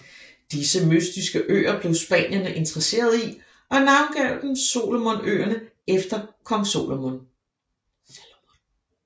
Disse mytiske øer blev spanierne interesserede i og navngav dem Salomonøerne efter Kong Salomon